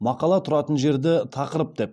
мақала тұратын жерді тақырып деп